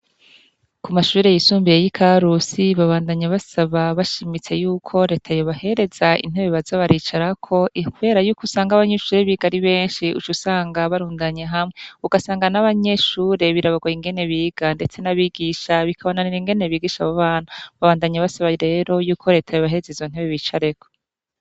Ku mashubire yisumbiye y'i karusi babandanyi basaba bashimitse yuko retayo bahereza intebe bazabaricarako ihwera yuko usanga abanyuishure bigari benshi uco usanga barundanye hamwe ugasanga n'abanyeshure birabarwa ingene biga, ndetse n'abigisha bikabananira ingene bigisha abubana babandanyi basaba rero yuko reta yo bahezeza ontebibica areko.